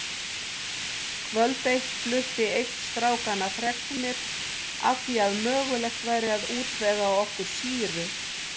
Kvöld eitt flutti einn strákanna fregnir af því að mögulegt væri að útvega okkur sýru.